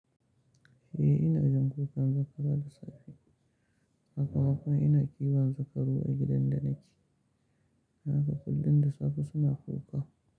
Eh ina jin kukan zakara da safe, haka kuma ina kiban zakaru a gidan da nake. Haka kullum da safe suna kuka.